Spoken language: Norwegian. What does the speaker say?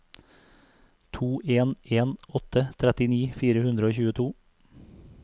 to en en åtte trettini fire hundre og tjueto